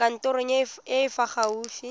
kantorong e e fa gaufi